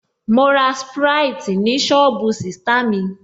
Mo ra sprite ni sọ́ọ̀bù sista mi